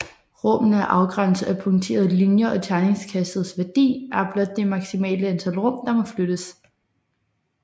Rummene er afgrænset af punkterede linjer og terningkastets værdi er blot det maksimale antal rum der må flyttes